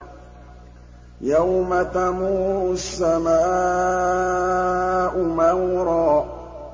يَوْمَ تَمُورُ السَّمَاءُ مَوْرًا